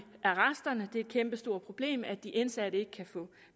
arresterne det er et kæmpestort problem at de indsatte ikke kan få